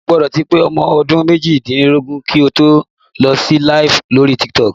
O gbọ́dọ̀ ti pé ọmọ ọdún méjìdínlógún kí o tó lè lọ LIVE lórí Tiktok